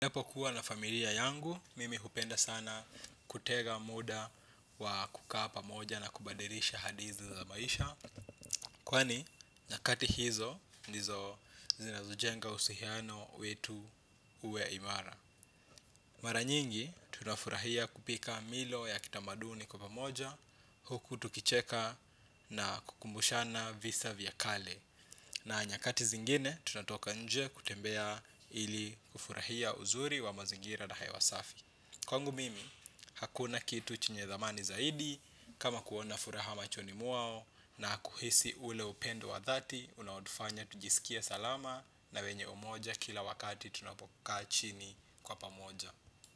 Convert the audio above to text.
Ninapokuwa na familia yangu, mimi hupenda sana kutega muda wa kukaa pamoja na kubadilisha hadithi za maisha. Kwani, nyakati hizo, ndizo zinazojenga uhusiano wetu uwe imara. Mara nyingi, tunafurahia kupika milo ya kitamaduni kwa pamoja, huku tukicheka na kukumbushana visa vya kale. Na nyakati zingine, tunatoka nje kutembea ili kufurahia uzuri wa mazingira na hewa safi. Kwangu mimi, hakuna kitu chenye thamani zaidi kama kuona furaha machoni mwao na kuhisi ule upendo wa dhati unaotufanya tujisikie salama na wenye umoja kila wakati tunapokaa chini kwa pamoja.